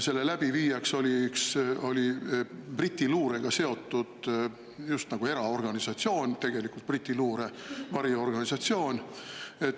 Selle läbiviijaks oli Briti luurega seotud just nagu eraorganisatsioon, tegelikult Briti luure variorganisatsioon.